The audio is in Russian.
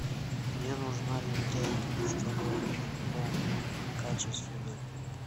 мне нужна лентяйка чтобы вымыть пол качественно